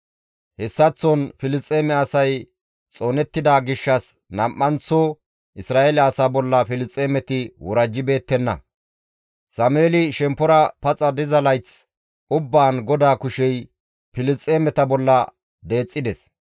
Hessaththon Filisxeeme asay xoonettida gishshas nam7anththo Isra7eele asaa bolla Filisxeemeti worajjibeettenna; Sameeli shemppora paxa diza layth ubbaan GODAA kushey Filisxeemeta bolla deexxides.